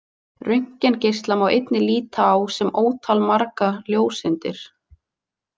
Röntgengeisla má einnig líta á sem ótalmargar ljóseindir.